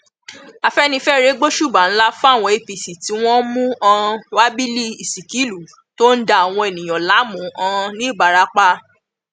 afẹnifẹre gbósùbà ńlá fáwọn apc tí wọn mú um wábílì ìsíkìlú tó ń da àwọn èèyàn láàmú um ńìbarapá